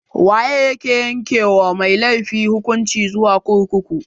Waye ake yanke wa mai laifi hukunci zuwa kurkuku?